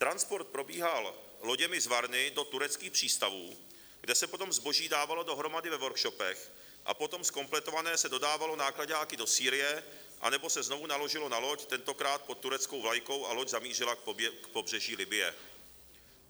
Transport probíhal loděmi z Varny do tureckých přístavů, kde se potom zboží dávalo dohromady ve workshopech, a potom zkompletované se dodávalo náklaďáky do Sýrie, anebo se znovu naložilo na loď, tentokrát pod tureckou vlajkou, a loď zamířila k pobřeží Libye.